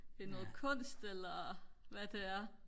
det er noget kunst eller hvad det er